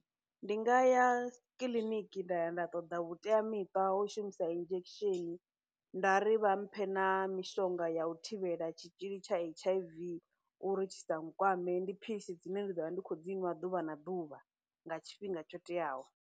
Ndi nga ya kiḽiniki nda ya nda ṱoḓa vhuteamiṱa ho shumisa injection, nda ri vha mphe na mishonga ya u thivhela tshitzhili tsha H_I_V uri tshi sa kwame, ndi philisi dzine ndi ḓo vha ndi khou dzi nwa ḓuvha na ḓuvha nga tshifhinga tsho teaho.